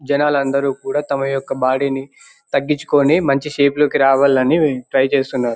జనాలందరూ కూడా తమ యొక్క బాడి ని తగ్గించుకుని మంచి షేప్ లోకి రావాలని ట్రై చేస్తున్నారు.